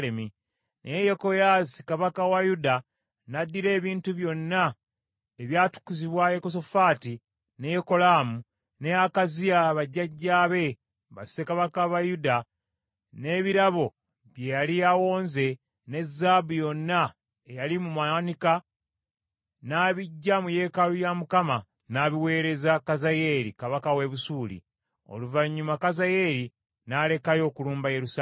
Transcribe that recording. Naye Yekoyaasi kabaka wa Yuda n’addira ebintu byonna ebyatukuzibwa Yekosafaati, ne Yekolaamu ne Akaziya bajjajjaabe bassekabaka ba Yuda, n’ebirabo bye yali awonze, ne zaabu yonna eyali mu mawanika, n’abiggya mu yeekaalu ya Mukama n’abiweereza Kazayeeri kabaka w’e Busuuli. Oluvannyuma Kazayeeri n’alekayo okulumba Yerusaalemi.